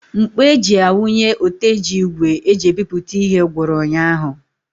Ńkpọ̀ eji a wunye oteji ígwè eji ebipụta ihe gwụrụ ụnyaahụ.